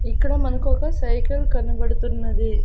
ఇక్కడ మనకు ఒక సైకిల్ కనబడుతున్నది.